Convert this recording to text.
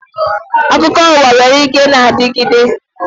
Akụkọ uwa nwere ike na-adigide.